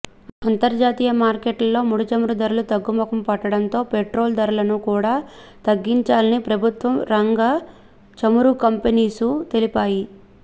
అంతర్జాతీయ మార్కెట్లలో ముడిచమురు ధరలు తగ్గముఖం పట్టడంతో పెట్రోల్ ధరలను కూడా తగ్గించాని ప్రభుత్వం రంగ చమురు కంపెనీసు తెలిపాయి